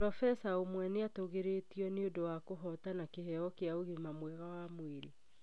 Probesa ũmwe nĩ atũgĩrĩtio nĩ ũndũ wa kũhootana kĩheo kĩa ũgima mwega wa mwĩrĩ